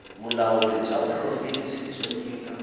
vulawuri bya provhinsi byo nyika